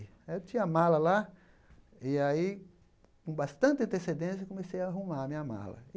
Eu tinha a mala lá e aí, com bastante antecedência, comecei a arrumar a minha mala.